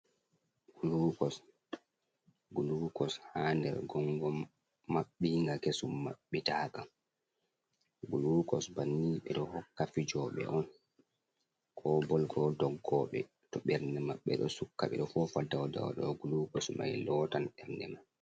Gulukos ha nder gongo maɓɓinga kesum maɓɓitaka, glukos banni ɓe ɗo hokka fijoɓe on, ko bol, ko doggoɓe to ɓernde maɓɓe ɗo sukka, ɓe ɗo fofa dowdow glugos mai lotan ɓernde mai.